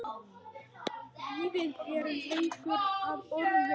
Lífið er leikur að orðum.